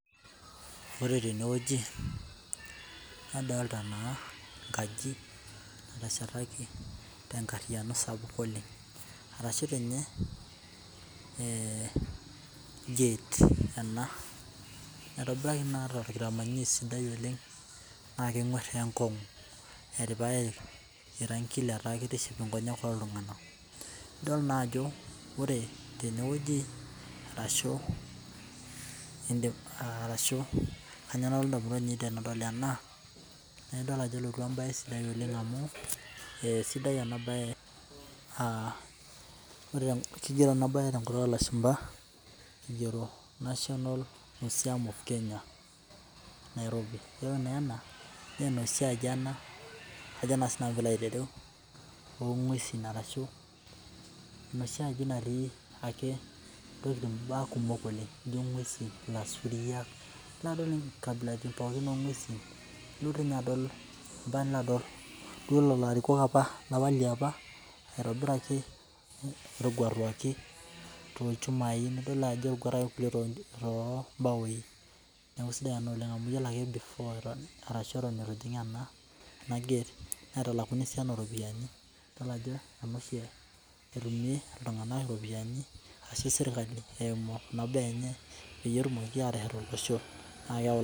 Wore tenewoji, nadoolta naa enkaji nateshetaki tenkariyiano sapuk oleng'. Arashu tiinye, gate ena , naitobiraki naa torkitamanyunoi sidai oleng', naa kenguar teenkongu. Etipikaki irangin letaa kitiship inkonyek ooltunganak. Idol naajo wore, tenewoji arashu kainyoo nalotu indamunot aiinei tenadol ena, adol ajo elotu embae sidai oleng' amu esidai ena baye. Kigioro ena baye tenkutuk oolashumba, igiero national museum of Kenya Nairobi, yiolo naa ena, naa enoshi aji ena, ajo naa sinanu piilo aitereu, oongwesin arashu enoshi aaji natii ake intokitin imbaa kumok oleng' nijo inguesin, ilasuriak, nilo adol inkabilatin pookin oongwesin. Ilo dii ninye adol ambaka nilo adol duo lelo arikok apa, lapa liapa laitobiraki laataguataki toolchumai nidol naa ajo etaguataki irkulie toombaoi. Neeku aisidai ena oleng' amu iyiolo ake before arashu eton itu ijing ena gate naitalakuni esiana ooropiyiani. Idol ajo ene oshi etumie iltunganak iropiyani ashu serkali eimu kuna baa enye, peyie etumoki aateshet olosho. Naa keeyau